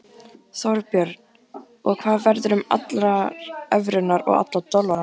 Þorbjörn: Og hvað verður um allar evrurnar og alla dollarana?